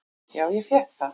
"""Já, ég fékk það."""